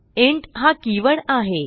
int हा keyword आहे